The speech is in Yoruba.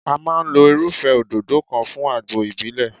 A máa lo irúfẹ́ òdòdó kan fún àgbo ìbílẹ̀.